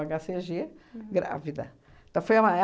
cê gê, grávida. Foi uma é